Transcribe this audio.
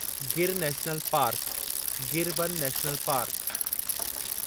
Gir national park, Gir वन national park